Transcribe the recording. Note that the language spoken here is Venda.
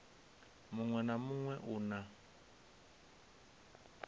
muṋwe na muṋwe u na